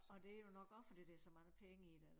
Og det jo nok også fordi det så mange penge i det